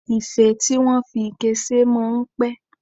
Ife tí wọ́n fi ike ṣe máa ń pẹ̀